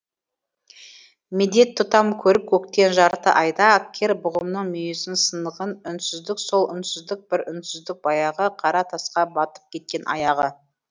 медет тұтам көріп көктен жарты айды кер бұғымның мұйізінің сынығын үнсіздік сол үнсіздік бір үнсіздік баяғы қара тасқа батып кеткен аяғы